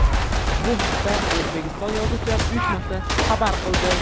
Bu haqda O‘zbekiston Yozuvchilar uyushmasi xabar qildi .